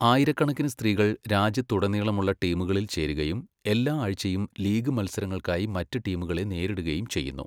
ആയിരക്കണക്കിന് സ്ത്രീകൾ രാജ്യത്തുടനീളമുള്ള ടീമുകളിൽ ചേരുകയും എല്ലാ ആഴ്ചയും ലീഗ് മത്സരങ്ങൾക്കായി മറ്റ് ടീമുകളെ നേരിടുകയും ചെയ്യുന്നു.